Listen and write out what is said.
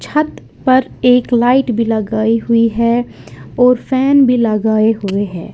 छत पर एक लाइट भी लगाई हुई है और फैन भी लगाए हुए हैं।